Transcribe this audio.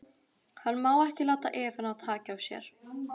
Hann má ekki láta Evu ná taki á sér.